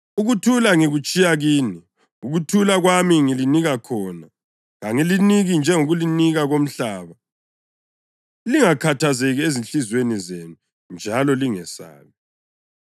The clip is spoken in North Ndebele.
Ukuthula ngikutshiya kini; ukuthula kwami ngilinika khona. Kangiliniki njengokunika komhlaba. Lingakhathazeki ezinhliziyweni zenu njalo lingesabi.